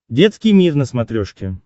детский мир на смотрешке